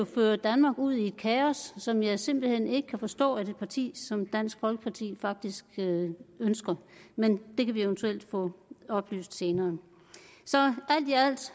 føre danmark ud i et kaos som jeg simpelt hen ikke kan forstå at et parti som dansk folkeparti faktisk ønsker men det kan vi eventuelt få oplyst senere